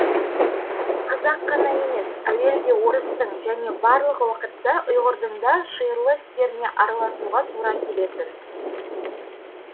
қазақ қана емес әуелде орыстың және барлық уақытта ұйғырдың да шиырлы істеріне араласуға тура келетін